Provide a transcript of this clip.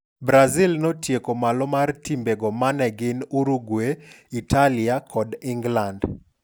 Brazil notieko malo mar timbe go mane gin Uruguay, Italia, kod Ingland.